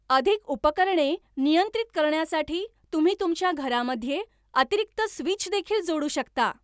अधिक उपकरणे नियंत्रित करण्यासाठी तुम्ही तुमच्या घरामध्ये अतिरिक्त स्विच देखील जोडू शकता